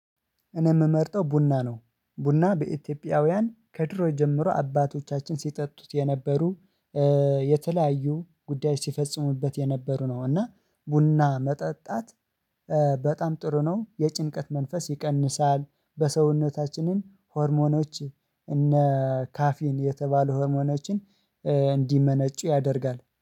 እኔ ምመርጠው ቡና ነው ቡና በኢትዮጵያውያን ከድሮ ጀምሮ አባቶቻችን ሲጠጡት የነበሩ የተለያዩ ጉዳዮች ሲፈጽሙበት የነበሩ ነው። እና ቡና መጠጣት በጣም ጥሩ ነው። የጭንቀት መንፈስ ይቀንሳል በሰውነታችንን ሆርሞኖች እነ ካፌን የተባሉ ሆርሞኖችን እንዲመነጩ ያደርጋል